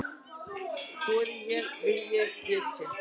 Þori ég- vil ég- get ég?